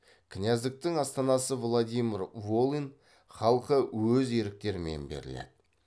кіняздіктің астанасы владимир волынь халқы өз еріктерімен беріледі